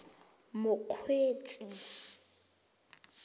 mokgweetsi